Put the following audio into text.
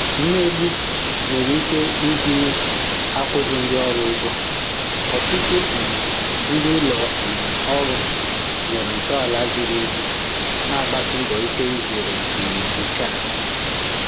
Mmegbu nwere ike ịgụnye akwụghị ndị orù ụ́gwọ̀, ọtụtụ um ndị ụlọ um òrụ́ nwere ntọala zìrì èzì na-agbàsì mbọ ike izèrè um nke a.